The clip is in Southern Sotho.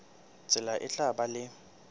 tsela e tla ba le